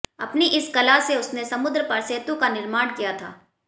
अपनी इसी कला से उसने समुद्र पर सेतु का निर्माण किया था